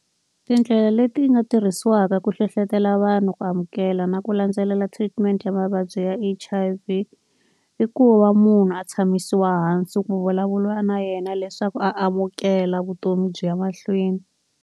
Tindlela leti nga tirhisiwaka ku hlohlotelo vanhu, ku amukela na ku landzelela treatment ya mavabyi ya H_I_V, i ku va munhu a tshamisiwa hansi ku vulavula na yena leswaku a amukela vutomi byi ya mahlweni.